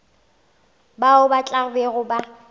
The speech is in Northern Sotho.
bao ba tla bego ba